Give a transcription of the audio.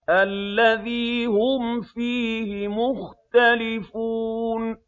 الَّذِي هُمْ فِيهِ مُخْتَلِفُونَ